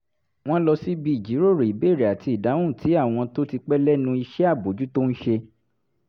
wọ́n lọ síbi ìjíròrò ìbéèrè àti ìdáhùn tí àwọn tó ti pẹ́ lẹ́nu iṣẹ́ àbójútó ń ṣe